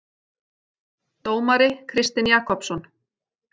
Dómari Kristinn Jakobsson.